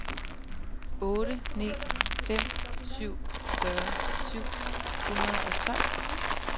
otte ni fem syv fyrre syv hundrede og tolv